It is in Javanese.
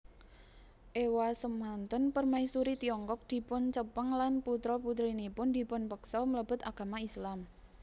Ewasemanten Permaisuri Tiongkok dipuncepeng lan putra putrinipun dipunpeksa mlebet agama Islam